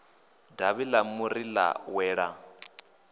davhi ḽa muri ḽa wela